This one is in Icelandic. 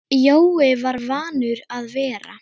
Jói var vanur að vera.